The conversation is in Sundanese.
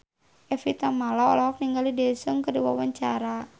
Evie Tamala olohok ningali Daesung keur diwawancara